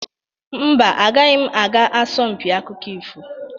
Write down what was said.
Mba, agaghị m aga asọmpiakụkọ ifo.